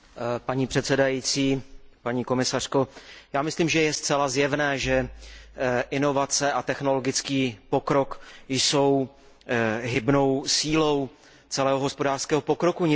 Paní předsedající, paní komisařko, myslím, že je zcela zjevné, že inovace a technologický pokrok jsou hybnou sílou celého hospodářského pokroku.